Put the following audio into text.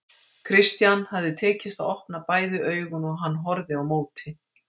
Christian hafði tekist að opna bæði augun og hann horfði á móti.